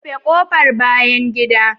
Rufe kofar bayan gida